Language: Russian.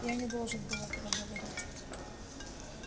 я не должен был этого говорить